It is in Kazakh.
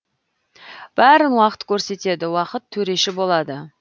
бәрін уақыт көрсетеді уақыт төреші болады